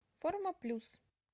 форма плюс